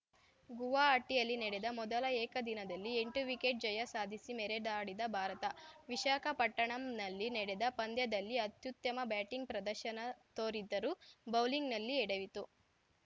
ಗುವಾಹಟಿಯಲ್ಲಿ ನಡೆದ ಮೊದಲ ಏಕದಿನದಲ್ಲಿ ಎಂಟು ವಿಕೆಟ್‌ ಜಯ ಸಾಧಿಸಿ ಮೆರೆದಾಡಿದ ಭಾರತ ವಿಶಾಖಪಟ್ಟಣಂನಲ್ಲಿ ನಡೆದ ಪಂದ್ಯದಲ್ಲಿ ಅತ್ಯುತ್ತಮ ಬ್ಯಾಟಿಂಗ್‌ ಪ್ರದರ್ಶನ ತೋರಿದ್ದರೂ ಬೌಲಿಂಗ್‌ನಲ್ಲಿ ಎಡವಿತ್ತು